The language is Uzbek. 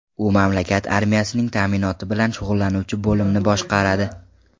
U mamlakat armiyasining ta’minoti bilan shug‘ullanuvchi bo‘limni boshqaradi.